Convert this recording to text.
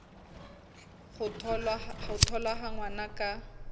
ho tholwa ha ngwana ka